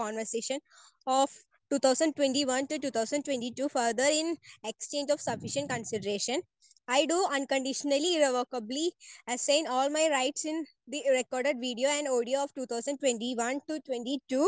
Speaker 1 conversation of two thousand twenty one to twenty two. Further, in exchange of sufficient consideration, I do unconditionally irrevocably assign all my rights in the record video and audio of two thousand twenty one to twenty twenty two